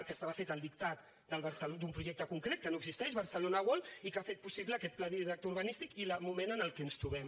que estava feta al dictat d’un projecte concret que no existeix barcelona world i que ha fet possible aquest pla director urbanístic i el moment en què ens trobem